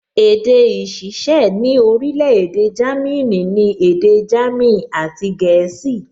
Èdè ìṣiṣẹ́ ní orílẹ̀-èdè Jámínì ni èdè jámìn àti gẹ̀ẹ́sì